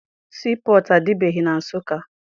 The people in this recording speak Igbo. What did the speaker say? Sii pọtụ adịbeghị na Nsụka.